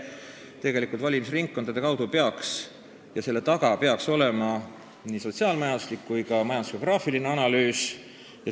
Tegelikult peaks selle taga olema nii sotsiaal-majanduslik kui ka majandusgeograafiline analüüs.